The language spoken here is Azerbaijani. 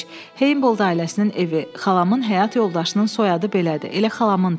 Heybol da ailəsinin evi, xalamın həyat yoldaşının soyadı belədir, elə xalamın da.